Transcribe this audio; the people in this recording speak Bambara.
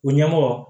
U ɲɛmɔgɔ